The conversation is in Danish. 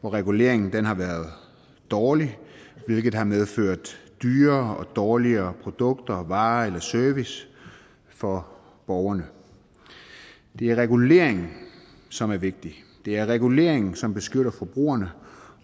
hvor reguleringen har været dårligt hvilket har medført dyrere og dårligere produkter varer eller service for borgerne det er reguleringen som er vigtig det er reguleringen som beskytter forbrugerne